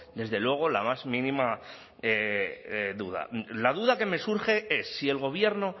desde luego la más mínima duda la duda que me surge es si el gobierno